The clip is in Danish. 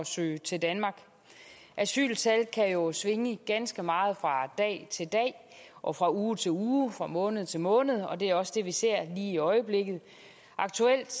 søge til danmark asyltal kan jo svinge ganske meget fra dag til dag og fra uge til uge fra måned til måned og det er også det vi ser lige i øjeblikket aktuelt